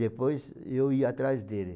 Depois, eu ia atrás dele.